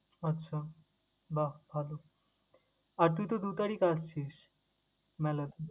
আচ্ছা বাহ! ভালো আর তুই তো দু তারিখ আসছিস, মেলায়?